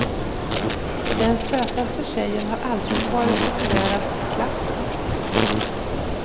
Den sötaste tjejen har alltid varit populärast i klassen.